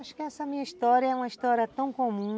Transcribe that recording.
Acho que essa minha história é uma história tão comum...